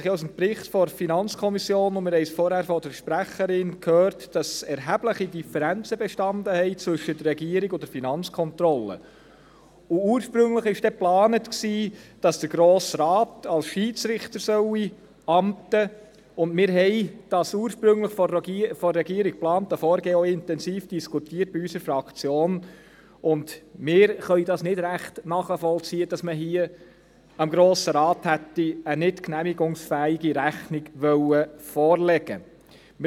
Wir haben das ursprünglich von der Regierung geplante Vorgehen in unserer Fraktion auch intensiv diskutiert, und wir können nicht recht nachvollziehen, dass man hier dem Grosse Rat eine nicht genehmigungsfähige Rechnung hätte vorlegen wollen.